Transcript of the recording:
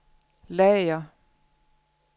lager